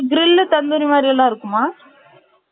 grill tandoori மாதிரி எல்லாமே இருக்குமா